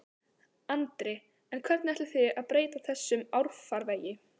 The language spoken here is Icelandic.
Andri: En hvernig ætlið þið að breyta þessum árfarvegi?